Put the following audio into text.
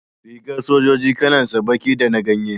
Rigar sojoji kalan sa baki da na ganye